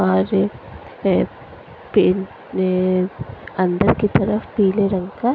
और ए पेंट ए अंदर की तरफ पीले रंग का--